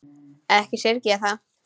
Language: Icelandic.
Ekki syrgi ég það.